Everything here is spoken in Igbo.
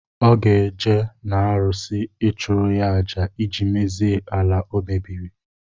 Ọ ga-eje na arụsị, ịchụrụ ya àjà ịjị mezie ala o mebiri